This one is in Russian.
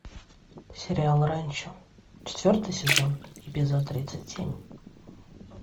сериал ранчо четвертый сезон эпизод тридцать семь